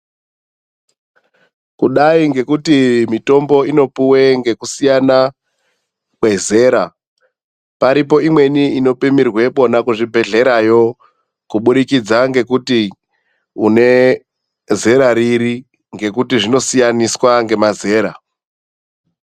Kudai ngekuti mitombo inopuwe ngekusiyana kwezera. Paripo imweni inopimirwepona, kuzvibhedhlerayo kubudikidza ngekuti une zera riri ngekuti zvinosiyaniswa ngemazera.